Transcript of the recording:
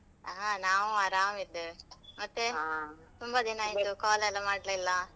ಹಾ ನಾವು ಆರಾಮ ಇದ್ದೇವೆ, ತುಂಬಾ ದಿನ ಆಯ್ತು, call ಎಲ್ಲ ಮಾಡ್ಲೆ ಇಲ್ಲ.